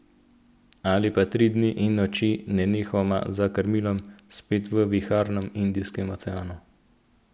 Ali pa tri dni in noči nenehoma za krmilom, spet v viharnem Indijskem oceanu.